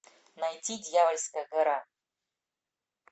найти дьявольская гора